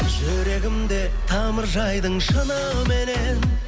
жүрегімде тамыр жайдың шыныменен